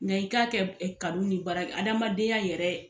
Nga i k'a kɛ kanu ni baara adamadenya yɛrɛ.